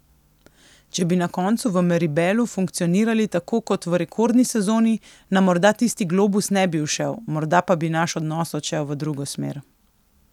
Če bi na koncu v Meribelu funkcionirali tako kot v rekordni sezoni, nam morda tisti globus ne bi ušel, morda pa bi naš odnos odšel v drugo smer.